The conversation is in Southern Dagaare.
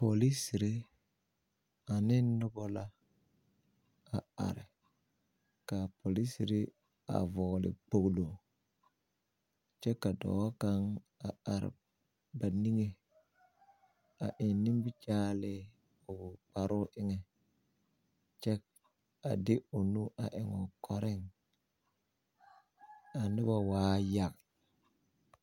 Polisiri ane noba la a are ka a polisiri a vɔɔli kpoɡelo kyɛ ka dɔɔ kaŋ a are ba niŋe a eŋ nimikyaanee o kparoo eŋɛ kyɛ a de o nu a eŋ o kɔreŋ a noba waa yaŋ.